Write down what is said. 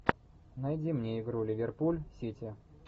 найди мне игру ливерпуль сити